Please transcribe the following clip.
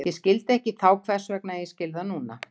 Ég skildi ekki þá hvers vegna, en ég skil það núna.